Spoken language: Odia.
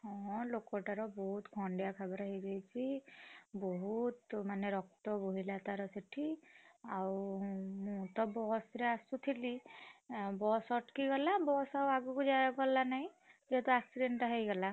ହଁ ଲୋକଟାର ବହୁତ ଖଣ୍ଡିଆ ଖାବରା ହେଇଯାଇଛି, ବହୁତ ମାନେ ରକ୍ତ ବୋହିଲା ତାର ସେଠି, ଆଉ ମୁଁ ତ ବସ୍ ରେ ଆସୁଥିଲି, ଆଁ ବସ୍ ଅଟକି ଗଲା ବସ୍ ଆଗକୁ ଯାଇ ଗଲାନି ନାହିଁ, ଯେହେତୁ accident ଟା ହେଇଗଲା।